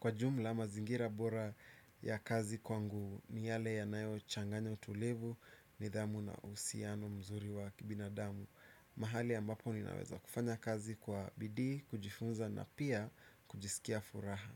Kwa jumla mazingira bora ya kazi kwangu, ni yale yanayo changanya utulivu, nidhamu na uhusiano mzuri wa kibinadamu. Mahali ambapo ninaweza kufanya kazi kwa bidii, kujifunza na pia kujisikia furaha.